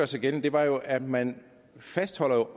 sig gældende var jo at man fastholdt at